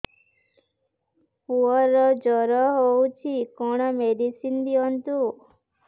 ପୁଅର ଜର ହଉଛି କଣ ମେଡିସିନ ଦିଅନ୍ତୁ